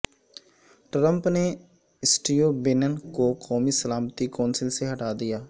Trump نے Steve Bannon کو قومی سلامتی کونسل سے ہٹا دیا